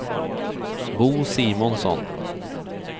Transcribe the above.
Bo Simonsson